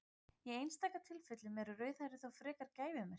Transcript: í einstaka tilfellum eru rauðhærðir þó frekar gæfumerki